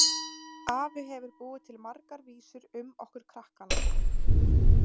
Afi hefur búið til margar vísur um okkur krakkana.